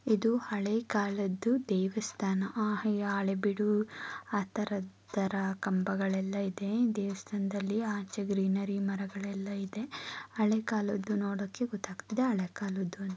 ಇದು ಹಳೇ ಕಾಲದ್ದು ದೇವಸ್ಥಾನ ಆ ಹಳೇಬೀಡು ಆತರ ಆತರ ಕಂಭಗಳು ಎಲ್ಲಾ ಇದೆ ದೇವಸ್ಥಾನದಲ್ಲಿ ಆಚೆ ಗ್ರೀನರಿ ಮರಗಳು ಎಲ್ಲಾ ಇದೆ ಹಳೇ ಕಾಲದು ನೋಡೋಕೆ ಗೋತಗ್ತಿದ್ದೆ ಹಳೇ ಕಾಲದ್ದು --